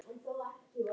Þá er ekkert vitað.